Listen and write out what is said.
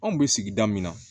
Anw bɛ sigida min na